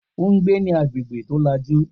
O n gbé ní agbègbè tó làjú